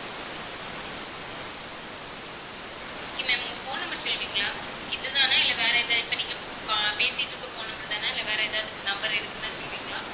okay ma'am உங்க phone number சொல்லுவீங்களா இதுதானா இல்ல வேற ஏதாவது, இப்ப நீங்க ஆஹ் பேசிட்டு இருக்குற phone number தானா இல்ல வேற ஏதாவது number இருக்குன்னா சொல்லுவீங்களா